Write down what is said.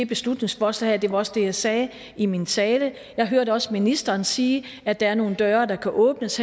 beslutningsforslag og det var også det jeg sagde i min tale jeg hørte også ministeren sige at der er nogle døre der kan åbnes